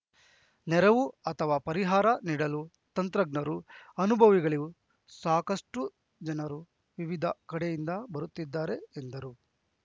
ನೆರವು ಅಥವಾ ಪರಿಹಾರ ನೀಡಲು ತಂತ್ರಜ್ಞರು ಅನುಭವಿಗಳು ಸಾಕಷ್ಟುಜನರು ವಿವಿಧ ಕಡೆಯಿಂದ ಬರುತ್ತಿದ್ದಾರೆ ಎಂದರು